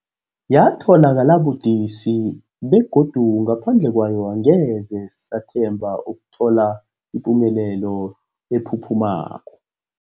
Yatholakala budisi, begodu ngaphandle kwayo angeze sathemba ukuthola ipumelelo ephuphumako.